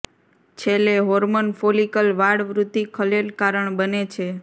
છેલ્લે hormone follicle વાળ વૃદ્ધિ ખલેલ કારણ બને છે